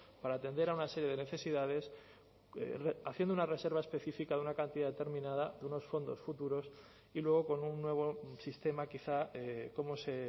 para atender a una serie de necesidades haciendo una reserva específica de una cantidad determinada de unos fondos futuros y luego con un nuevo sistema quizá como se